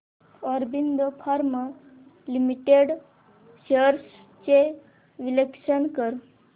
Aurobindo pharma limited shares चे विश्लेषण कर